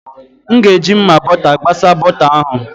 M ga-eji mma bọta gbasa bọta ahụ.